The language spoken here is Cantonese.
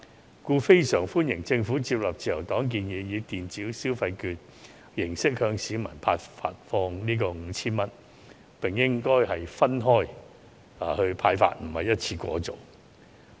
因此，我們非常歡迎政府接納自由黨的建議，以電子消費券形式向市民發放 5,000 元，並應分期而非一次過派發。